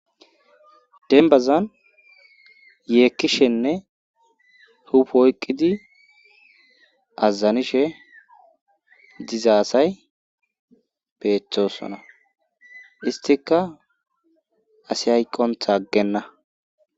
denbazan yeekkishenne hup oyqqidi azazanishe diza asay peeththosona istika asi hayqonta aggenna